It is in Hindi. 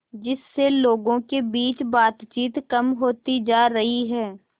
जिससे लोगों के बीच बातचीत कम होती जा रही है